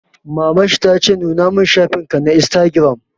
Maman shi ta ce 'Nuna mun shafin ka na Instagram'!